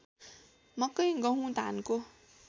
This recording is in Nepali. मकै गहुँ धानको